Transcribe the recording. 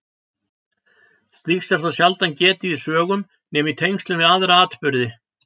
Slíks er þó sjaldan getið í sögum nema í tengslum við aðra atburði.